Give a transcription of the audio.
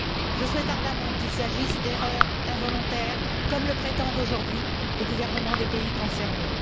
Je souhaite ardemment qu'il s'agisse d'erreurs involontaires, comme le prétendent aujourd'hui les gouvernements des pays concernés.